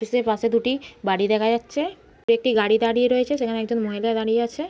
Office -এর পাশে দুটি বাড়ি দেখা যাচ্ছে। দূরে একটি গাড়ি দাঁড়িয়ে আছে। সেখানে একজন মহিলা দাঁড়িয়ে আছে।